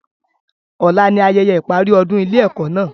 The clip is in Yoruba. Ọ̀la ni ayẹyẹ ìparí ọdún ilé ẹ́kọ́ náà